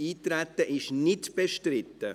– Das Eintreten ist nicht bestritten.